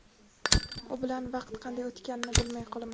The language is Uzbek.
U bilan vaqt qanday o‘tganini bilmay qolaman.